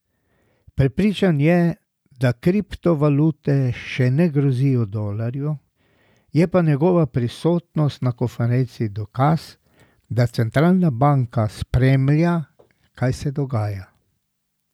Prepričan je, da kriptovalute še ne grozijo dolarju, je pa njegova prisotnost na konferenci dokaz, da centralna banka spremlja, kaj se dogaja.